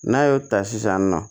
N'a y'o ta sisan nɔ